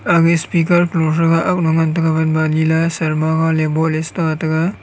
speaker talo threga agano ngan taiga banba aniley sharma ta tega.